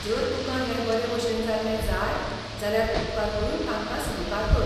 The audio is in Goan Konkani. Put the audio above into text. जर तुकां हें बरेभशेन जाल्लें जाय जाल्यार उपकार करून तांकां सहकार कर.